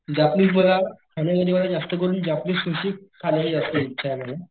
Japanese मला खाण्यामध्ये मला जास्त करून जापनीस सुशी खाण्याची जास्त इच्छा मला.